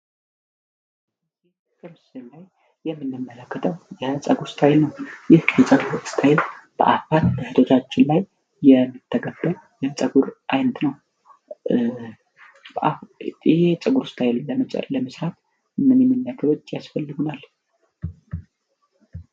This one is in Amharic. የምንመለከተው የፀጉር እስታይል ነው የፀጉር ስታይል ብዙዎቻችን የምንጠቀመው የፀጉር ዓይነት ነው ይህን የፀጉር እስታይል ለመስራት ምን ያክል ወጪ ያስፈልገዋል?